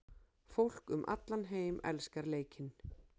Fólk um allan heim elskar leikinn.